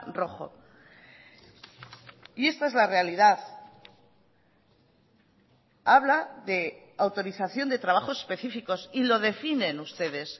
rojo y esta es la realidad habla de autorización de trabajos específicos y lo definen ustedes